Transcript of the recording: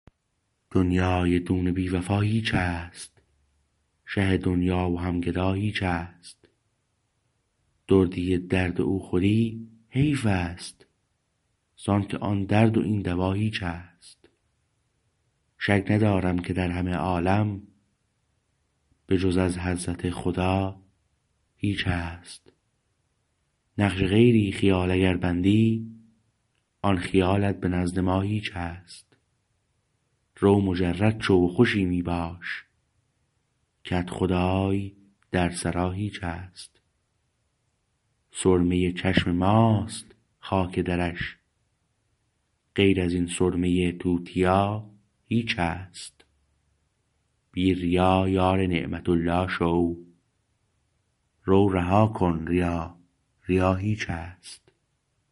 دنیی دون بی وفا هیچست شه دنیا و هم گدا هیچست دردی درد او خوری حیفست زانکه آن درد و این دوا هیچست شک ندارم که در همه عالم به جز از حضرت خدا هیچست نقش غیری خیال اگر بندی آن خیالت به نزد ما هیچست رو مجرد شو و خوشی می باش کدخدای در سرا هیچست سرمه چشم ماست خاک درش غیر از این سرمه توتیا هیچست بی ریا یار نعمت الله شو رو رها کن ریا ریا هیچست